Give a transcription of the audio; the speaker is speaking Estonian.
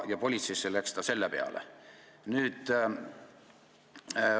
Ta läks selle peale politseisse.